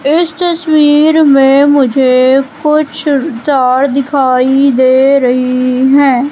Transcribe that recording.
इस तसवीर में मुझे कुछ जार दिखाई दे रही हैं।